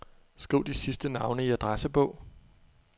Skriv de sidste navne i adressebog.